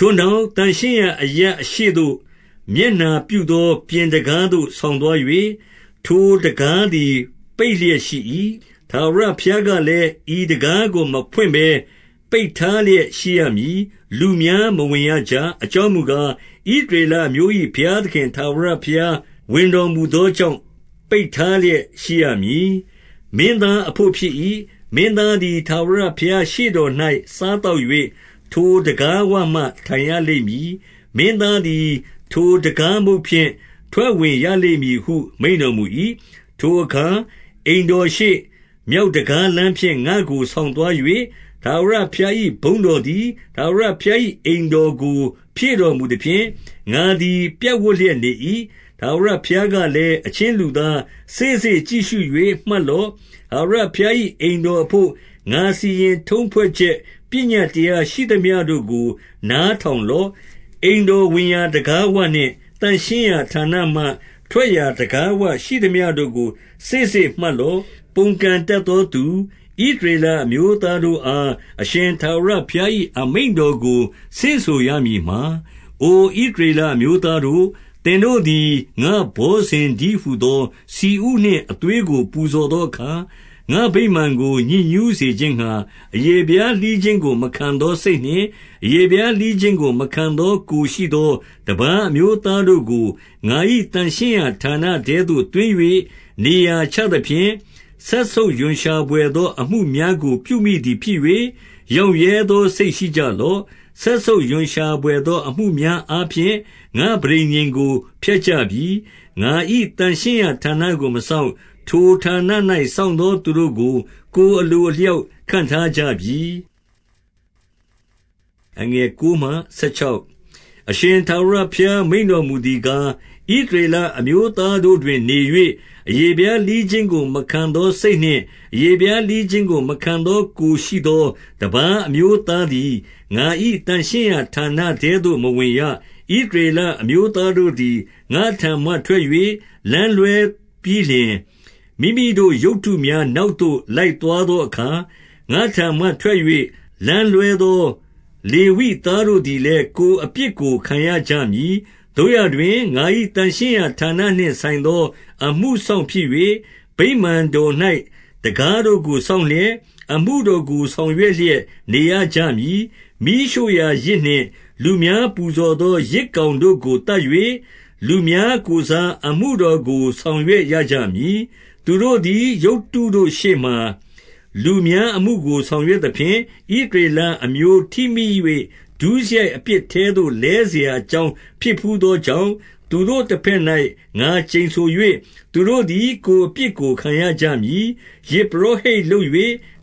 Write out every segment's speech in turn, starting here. ထိုနောက်၊ သန့်ရှင်းရာအရပ်အရှေ့သို့ မျက်နှာ ပြုသော ပြင်တံခါးသို့ ဆောင်သွား၍၊ ထိုတံခါးသည် ပိတ်လျက်ရှိ၏။ 2 ထာဝရဘုရားကလည်း၊ ဤတံခါးကိုမဖွင့်ဘဲ ပိတ်ထားလျက်ရှိရမည်။ လူများမဝင်ရကြ။ အကြောင်းမူ ကား၊ ဣသရေလအမျိုး၏ ဘုရားသခင် ထာဝရဘုရား ဝင်တော်မူသောကြောင့် ပိတ်ထားလျက်ရှိရမည်။ 3 မင်းသားအဘို့ဖြစ်၏။ မင်းသားသည် ထာဝရ ဘုရားရှေ့တော်၌ စားသောက်၍ထိုတံခါးဝမှာ ထိုင်ရ လိမ့်မည် မင်းသားသည် ထိုတံခါးမုတ်ဖြင့် ထွက်ဝင် ရလိမ့်မည်ဟု မိန့်တော်မူ၏။ 4 ထိုအခါ အိမ်တော်ရှေ့၊ မြောက်တံခါးလမ်းဖြင့် ငါ့ကိုဆောင်သွား၍။ ထာဝရဘုရား၏ဘုန်းတော်သည် ထာဝရဘုရား၏အိမ်တော်ကို ဖြည့်တော်မူသဖြင့်၊ ငါသည် ပြပ်ဝပ်လျက်နေ၏။ 5 ထာဝရဘုရားကလည်း၊ အချင်းလူသား၊ စေ့စေ့ ကြည့်ရှု၍ မှတ်လော့။ ထာဝရဘုရား၏ အိမ်တော်အဘို့ ငါစီရင်ထုံးဖွဲ့ချက် ပညတ်တရားရှိသမျှတို့ကို နားထောင် လော့။ အိမ်တော်ဝင်ရာတံခါးဝနှင့် သန့်ရှင်းရာဌာနမှ ထွက်ရာတံခါးဝရှိသမျှတို့ကို စေ့စေ့မှတ်လော့။ 6 ပုန်ကန်တတ်သောသူ ဣသရေလအမျိုးသားတို့ အား အရှင်ထာဝရဘုရား၏ အမိန့်တော်ကို ဆင့်ဆိုရမည် မှာ၊ အိုဣသရေလအမျိုးသားတို့၊ 7 သင်တို့သည် ငါ့ဘောဇဉ်တည်းဟူသော ဆီဥနှင့် အသွေးကို ပူဇော်သောအခါ၊ ငါ့ဗိမာန်ကိုညစ်ညူးစေခြင်း ငှါ၊ အရေဖျားလှီးခြင်းကို မခံသောစိတ်နှင့် အရေဖျားလှီးခြင်းကို မခံ သောကိုယ်ရှိသော တပါးအမျိုးသားတို့ကို ငါ၏သန့်ရှင်း ရာဌာနထဲသို့ သွင်း၍နေရာချသဖြင့်၊ စက်ဆုပ်ရွံရှာ ဘွယ်သော အမှုများကို ပြုမိသည်ဖြစ်၍၊ ရောင့်ရဲသော စိတ်ရှိကြလော့။ စက်ဆုပ်ရွံရှာဘွယ်သောအမှုများ အားဖြင့် ငါ့ပဋိညာဉ်ကို ဖျက်ကြပြီ။ 8 ငါ၏သန့်ရှင်းရာဌာနကို မစောင့်။ ထိုဌာန၌ စောင့်သောသူတို့ကို ကိုယ်အလိုအလျောက်ခန့်ထားကြပြီ။ 9 အရှင်ထာဝရဘုရား မိန့်တော်မူသည်ကား၊ ဣသရေလအမျိုးသားတို့တွင်နေ၍၊ အရေဖျားလှီးခြင်းကို မခံသောစိတ်နှင့် အရေဖျားလှီးခြင်းကိုမခံသော ကိုယ်ရှိ သောတပါးအမျိုးသားသည် ငါ၏သန့်ရှင်းရာဌာနထဲသို့ မဝင်ရ။ 10 ဣသရေလအမျိုးသားတို့သည် ငါ့ထံမှထွက်၍ လမ်းလွှဲပြီးလျှင်၊ မိမိတို့ရုပ်တုများနောက်သို့ လိုက်သွား သောအခါ၊ ငါ့ထံမှထွက်၍လမ်းလွှဲသော လေဝိသားတို့ သည်လည်း ကိုယ်အပြစ်ကို ခံရကြမည်။ 11 သို့ရာတွင်၊ ငါ၏သန့်ရှင်းရာဌာနနှင့်ဆိုင်သော အမှုစောင့်ဖြစ်၍၊ ဗိမာန်တော်၌တံခါးတို့ကို စောင့်လျက်၊ အမှုတော်ကို ဆောင်ရွက်လျက်နေရကြမည်။ မီးရှို့ရာယဇ် နှင့် လူများပူဇော်သော ယဇ်ကောင်တို့ကို သတ်၍၊ လူများ ကိုယ်စား အမှုတော်ကို ဆောင်ရွက်ရကြမည်။ 12 သူတို့သည် ရုပ်တုတို့ရှေ့မှာ လူများအမှုကို ဆောင်ရွက်သဖြင့်၊ ဣသရေလအမျိုးထိမိ၍ ဒုစရိုက် အပြစ်ထဲသို့ လဲစရာအကြောင်းဖြစ်ဘူးသောကြောင့်၊ သူတို့ တဘက်၌ငါကျိန်ဆို၍၊ သူတို့သည် ကိုယ်အပြစ်ကို ခံရ ကြမည်။ 13 ယဇ်ပုရောဟိတ်လုပ်၍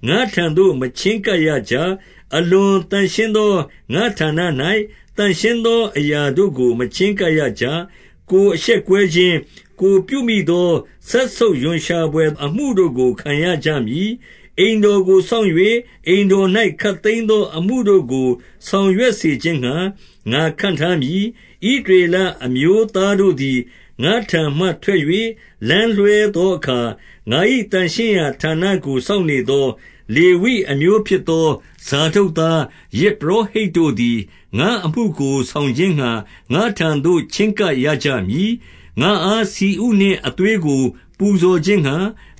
ငါ့ထံသို့မချဉ်းကပ်ရကြ။ အလွန်သန့်ရှင်းသော ငါ့ဌာန၌ သန့်ရှင်းသောအရာတို့ကို မချဉ်းကပ်ရကြ။ ကိုယ်အရှက်ကွဲခြင်း၊ ကိုယ်ပြုမိသော စက်ဆုပ်ရွံရှာဘွယ်အမှုတို့ကို ခံရကြမည်။ 14 အိမ်တော်ကိုစောင့်၍၊ အိမ်တော်၌ ခပ်သိမ်း သောအမှုတို့ကို ဆောင်ရွက်စေခြင်းငှါ ငါခန့်ထားမည်။ 15 ဣသရေလ အမျိုးသားတို့သည် ငါ့ထံမှထွက်၍ လမ်းလွဲသောအခါ၊ ငါ၏သန့်ရှင်းရာဌာနကို စောင့်နေ သော လေဝိအမျိုးဖြစ်သော ဇာဒုတ်သား၊ ယဇ်ပုရော ဟိတ်တို့သည် ငါ့အမှုကိုဆောင်ခြင်းငှါ ငါ့ထံသို့ ချဉ်းကပ် ကြ၏။ ငါ့အားဆီဥနှင့်အသွေးကို ပူဇော်ခြင်းငှါ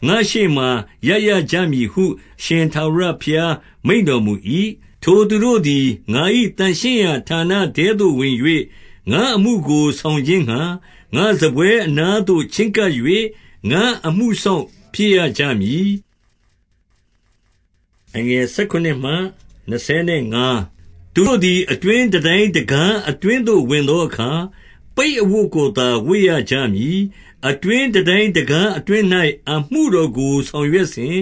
အရှေ့မှာ ရပ်ရကြမည်ဟု အရှင်ထာဝရဘုရား မိန့်တော်မူ၏။ 16 ထိုသူတို့သည် ငါ၏သန့်ရှင်းရာဌာနထဲသို့ဝင်၍ ငါ့အမှုကိုဆောင်ခြင်းငှါ၊ ငါ့စားပွဲအနားသို့ ချဉ်းကပ်၍ ငါ့အမှုစောင့်ဖြစ်ရကြမည်။ 17 သူတို့သည် အတွင်းတန်တိုင်းတံခါး အတွင်းသို့ ဝင်သောအခါ၊ ပိတ်အဝတ်ကိုသာ ဝတ်ရကြမည်။ အတွင်း တန်တိုင်းတံခါးအတွင်း၌ အမှုတော်ကိုဆောင်ရွက်စဉ်၊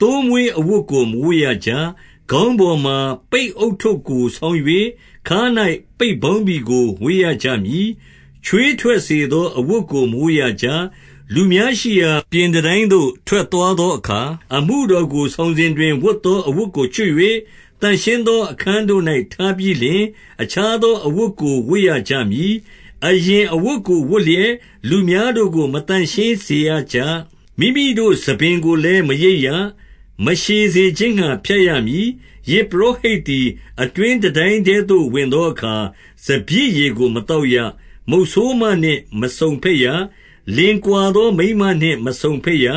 သိုးမွေးအဝတ်ကို မဝတ်ရကြ။ 18 ခေါင်းပေါ်မှာ ပိတ်ဦးထုပ်ကို ဆောင်း၍၊ ခါး၌ ပိတ်ပေါင်းဘီကိုဝတ်ရကြမည်။ ချွေးထွက်စေသော အဝတ်ကို မဝတ်ရကြ။ 19 လူများရှိရာ ပြင်တန်တိုင်းသို့ ထွက်သွားသော အခါ၊ အမှုတော်ကို ဆောင်စဉ်တွင် ဝတ်သောအဝတ်ကို ချွတ်၍၊ သန့်ရှင်းသောအခန်းတို့၌ ထားပြီးလျှင်၊ အခြား သောအဝတ်ကိုဝတ်ရကြမည်။ အရင်အဝတ်ကိုဝတ်လျက် လူများတို့ကို မသန့်ရှင်းစေရကြ။ 20 မိမိတို့ဆံပင်ကိုလည်း မရိတ်ရ၊ မရှည်စေခြင်းငှါ ဖြတ်ရမည်။ 21 ယဇ်ပုရောဟိတ်သည် အတွင်းတန်တိုင်းထဲသို့ ဝင်သောအခါ စပျစ်ရည်ကိုမသောက်ရ။ 22 မုတ်ဆိုးမနှင့် မစုံဘက်ရ။ လင်ကွာသောမိန်းမ နှင့် မစုံဘက်ရ။ ဣ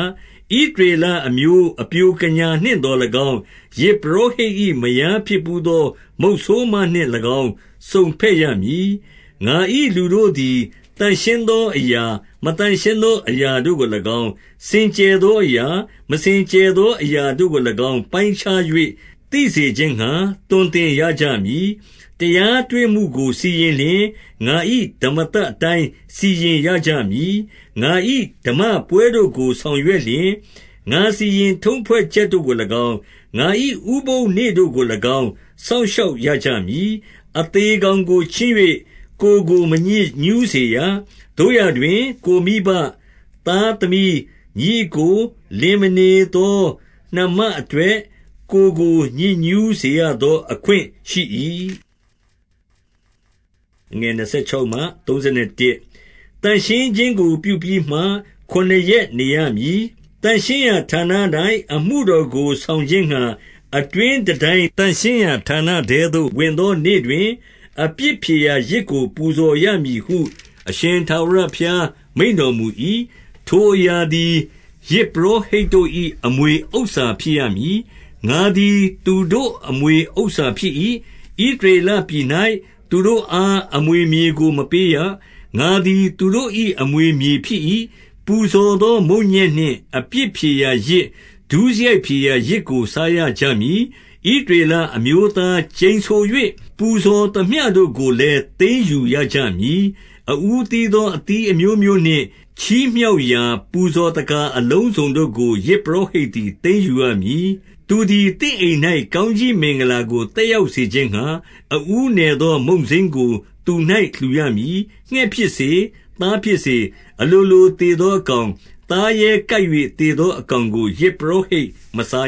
သရေလအမျိုး အပျိုကညာနှင့် သော်၎င်း၊ ယဇ်ပုရောဟိတ်၏မယားဖြစ်ဘူးသော မုတ်ဆိုးမ နှင့်သော်၎င်း စုံဘက်ရမည်။ 23 ငါ၏လူတို့သည် သန့်ရှင်းသောအရာ၊ မသန့်ရှင်း သောအရာတို့ကို၎င်း၊ စင်ကြယ်သောအရာ၊ မစင်ကြယ် သောအရာတို့ကို၎င်း ပိုင်းခြား၍သိစေခြင်းငှါ သွန်သင် ရကြမည်။ 24 တရားတွေ့မှုကိုစီရင်လျှင်၊ ငါ၏ဓမ္မသတ် အတိုင်း စီရင်ရကြမည်။ ငါ၏ဓမ္မပွဲတို့ကို ဆောင်ရွက်လျှင်၊ ငါစီရင်ထုံးဖွဲ့ချက်တို့ကို၎င်း၊ ငါ၏ဥပုသ်နေ့တို့ကို၎င်း စောင့်ရှောက်ရကြမည်။ 25 အသေကောင်ကိုချဉ်း၍ ကိုယ်ကို မညစ်ညူး စေရ။ သို့ရာတွင်၊ ကိုယ်မိဘ၊ သားသမီး၊ ညီအစ်ကို၊ လင်မနေသောနှမအတွက် ကိုယ်ကို ညစ်ညူးစေရသော အခွင့်ရှိ၏။ 26 သန့်ရှင်းခြင်းကိုပြုပြီးမှ ခုနစ်ရက်နေရမည်။ 27 သန့်ရှင်းရာဌာန၌ အမှုတော်ကိုဆောင်ခြင်းငှါ အတွင်းတန်တိုင်း သန့်ရှင်းရာဌာနထဲသို့ ဝင်သောနေ့တွင်၊ အပြစ်ဖြေရာယဇ်ကို ပူဇော်ရမည်ဟု အရှင်ထာဝရဘုရား မိန့်တော်မူ၏။ 28 ထိုအရာသည် ယဇ်ပုရောဟိတ်တို့၏ အမွေဥစ္စာ ဖြစ်ရမည်။ ငါသည်သူတို့အမွေဥစ္စာဖြစ်၏။ ဣသရေလ ပြည်၌ သူတို့အားအမွေမြေကို မပေးရ။ ငါသည်သူတို့၏ အမွေမြေဖြစ်၏။ 29 ပူဇော်သောမုန့်ညက်နှင့်အပြစ်ဖြေရာယဇ်၊ ဒုစရိုက်ဖြေရာယဇ်ကို စားရကြမည်။ ဣသရေလအမျိုး သား ကျိန်ဆို၍ ပူဇော်သမျှတို့ကိုလည်း သိမ်းယူရကြမည်။ 30 အဦးသီးသောအသီးအမျိုးမျိုးနှင့်၊ ချီးမြှောက်ရာ ပူဇော်သက္ကာအလုံးစုံတို့ကို ယဇ်ပုရောဟိတ်သည် သိမ်းယူ ရမည်။ သူသည်သင့်အိမ်၌ ကောင်းကြီးမင်္ဂလာကို သက် ရောက်စေခြင်းငှါ၊ အဦးနယ်သော မုန့်စိမ်းကို သူ၌ လှူရမည်။ 31 ငှက်ဖြစ်စေ၊ သားဖြစ်စေ၊ အလိုလိုသေသော အကောင်၊ သားရဲကိုက်၍ သေသောအကောင်ကို ယဇ်ပုရောဟိတ်မစား